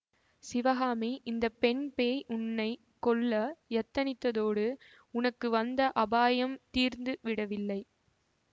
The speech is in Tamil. சிவகாமி இந்த பெண் பேய் உன்னை கொல்ல யத்தனித்ததோடு உனக்கு வந்த அபாயம் தீர்ந்து விடவில்லை